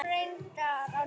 Það kom reyndar á daginn.